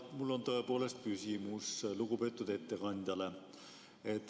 Mul on tõepoolest küsimus lugupeetud ettekandjale.